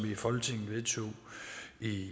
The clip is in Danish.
vi vedtog i